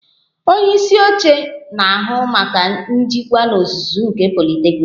Ọnye isi oche na-ahụ maka njikwa n'ozuzu nke politeknik